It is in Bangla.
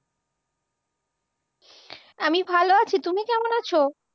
আমি ভালো আছি। তুমি কেমন আছ?